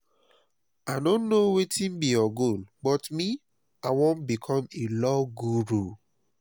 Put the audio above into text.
i no know wetin be your goal but me i wan become a law guru